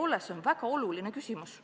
See on väga oluline küsimus.